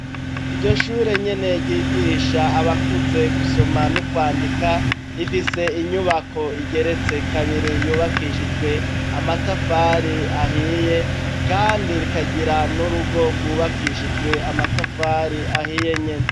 Iryo shure nyene ryigisha abakuze gusoma n'ukwandika, rifise inyubako rigeretswe kabiri, yubakishijwe amatafari ahiye, kandi rikagira n'urugo rwubakishijwe amatafari ahiye nyene.